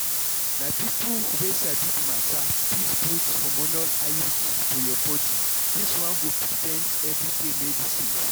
na people wey sabi the matter fit put hormonal iud for your body dis one go prevent everyday medicines.